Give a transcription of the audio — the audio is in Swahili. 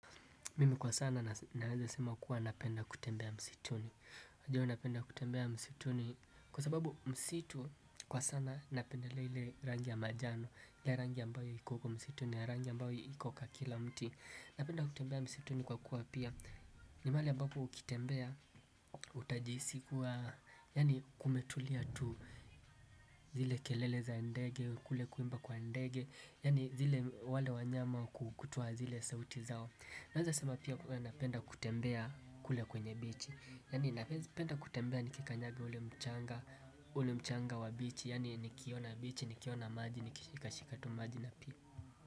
Mimi kwa sana naweza sema kuwa napenda kutembea msituni unajua napenda kutembea msituni. Kwa sababu msitu kwa sana napendelelea ile rangi ya manjano ile rangi ya mbao iko kwa msituni. Ya rangi mbaoyo iko kwa kila mti. Napenda kutembea msituni kwa kuwa pia ni mahali ambapo ukitembea utajihisi kuwa yani kumetulia tu zile kelele za ndege kule kuimba kwa ndege yani zile wale wanyama kutoa zile sauti zao. Naeza sema pia napenda kutembea kule kwenye bichi. Yani napenda kutembea nikikanyaga ule mchanga. Ule mchanga wa bichi yani nikiona bichi, nikiona maji, nikishika shikatu maji na pia.